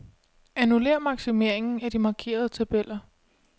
Annullér maksimeringen af de markerede tabeller.